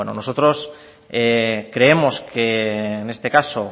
bueno nosotros creemos que en este caso